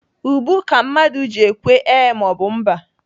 Ubu ka mmadụ ji ekwe ee maọbụ mba.